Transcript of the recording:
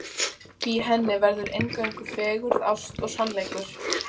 Í henni verður eingöngu fegurð, ást og sannleikur.